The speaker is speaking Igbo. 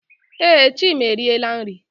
Ee, Chima eriela nri.